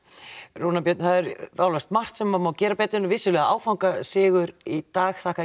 Rúnar Björn það er eflaust margt sem má gera betur þetta var vissulega áfangasigur í dag þakka